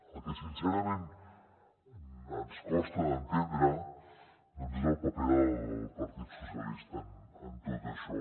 el que sincerament ens costa d’entendre doncs és el paper del partit socialista en tot això